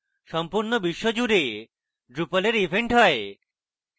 সম্পূর্ণ বিশ্বজুড়ে drupal এর events হয়